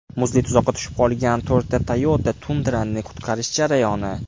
Muzli tuzoqqa tushib olgan to‘rtta Toyota Tundra’ni qutqarish jarayoni.